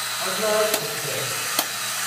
Arnad express